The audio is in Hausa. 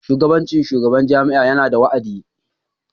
Shugabancin shugaban jami'a yana da wa'adi.